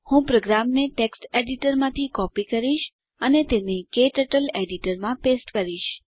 હું પ્રોગ્રામને ટેક્સ્ટ એડીટરમાંથી કોપી કરીશ અને તેને ક્ટર્ટલ એડીટરમાં પેસ્ટ કરીશ